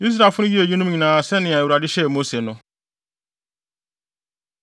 Israelfo no yɛɛ eyinom nyinaa sɛnea Awurade hyɛɛ Mose no.